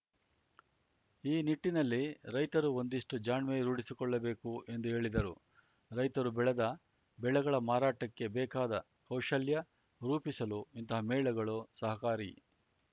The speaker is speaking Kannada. ಈ ನಿಟ್ಟಿನಲ್ಲಿ ರೈತರೂ ಒಂದಿಷ್ಟುಜಾಣ್ಮೆ ರೂಢಿಸಿಕೊಳ್ಳಬೇಕು ಎಂದು ಹೇಳಿದರು ರೈತರು ಬೆಳೆದ ಬೆಳೆಗಳ ಮಾರಾಟಕ್ಕೆ ಬೇಕಾದ ಕೌಶಲ್ಯ ರೂಪಿಸಲು ಇಂತಹ ಮೇಳಗಳು ಸಹಕಾರಿ